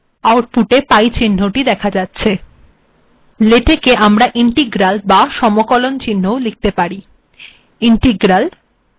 \prod command এর মাধ্যেম1/x িচহ্নিট েদখা যাচ্েছ we can create integral েলেটেক আমরা integral বা সমকলন িচহ্নও িলখেত পাির